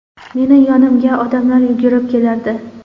Meni yonimga odamlar yugurib kelardi.